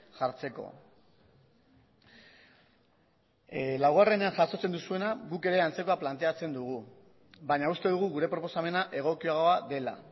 jartzeko laugarrenean jasotzen duzuena guk ere antzekoa planteatzen dugu baina uste dugu gure proposamena egokiagoa dela